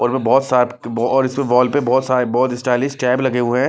बहुत सात और इस बॉल पे बहुत सारे बहुत स्टाइलिश टैब लगे हुए हैं।